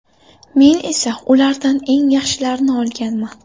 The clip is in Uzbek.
Men esa ulardan eng yaxshilarini olganman.